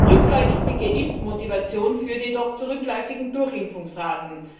Rückläufige Impfmotivation führt jedoch zu rückläufigen Durchimpfungsraten.